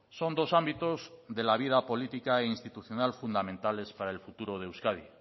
son dos ámbitos de la vida política e institucional fundamentales para el futuro de euskadi